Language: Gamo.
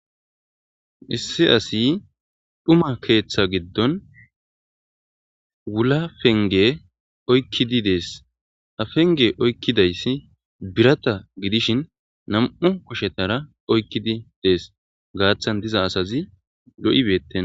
Issi asi dhuma keetha giddon wula penge oykidi dees ha penge oykidayssi birata gidishin nam'u kushetara oykidi dees gaathan diza assazi lo'i beetenna.